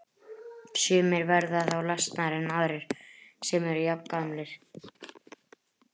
Sumir verða þá lasnari en aðrir sem eru jafngamlir.